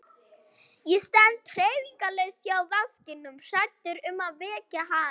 Ég stend hreyfingarlaus hjá vaskinum hræddur um að vekja hana.